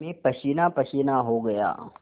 मैं पसीनापसीना हो गया